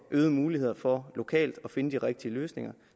øgede muligheder for lokalt at finde de rigtige løsninger